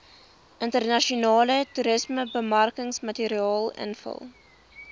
internasionale toerismebemarkingsmateriaal invul